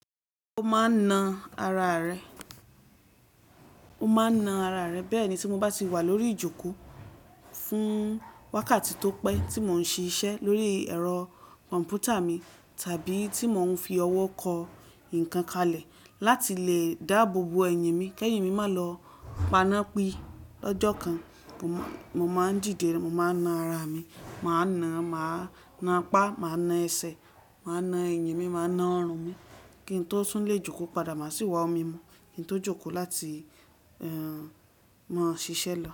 O maa n na ara re, o maa n na ara re. Bee ni ti mo ba ti wa lori ijoko fun wakati to pe ti mo n ṣe ise lori ẹrọ kọnputa mi tabi ti mo n fi ọwọ ko nkankan le lati le daabobo ẹyin mi, ke ẹyin mi ma lọ pana pi lojo kan. Mo ma n dide, mo ma n na ara mi, ma na, ma na pa, ma na ẹsẹ, ma na ẹyin mi, ma na ọrun mi, ki n to tun le ijoko pada, ma si wọ ọmị̀ mọ, ki n to joko lati, eh, mọ ṣiṣẹ lọ.